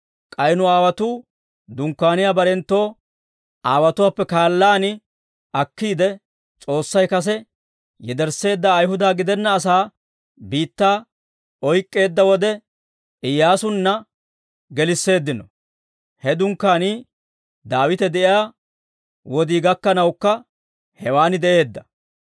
K'ay nu aawotuu dunkkaaniyaa barenttu aawotuwaappe kaallaan akkiide, S'oossay kase yedersseedda Ayihuda gidenna asaa biittaa oyk'k'eedda wode, Iyyaasunna gelisseeddino; he dunkkaanii Daawite de'iyaa wodii gakkanawukka hewaan de'eedda.